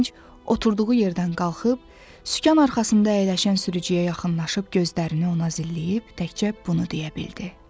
Gənc oturduğu yerdən qalxıb sükan arxasında əyləşən sürücüyə yaxınlaşıb gözlərini ona zilləyib təkcə bunu deyə bildi.